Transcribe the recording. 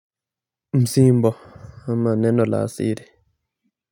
Msimba ama neno la siri.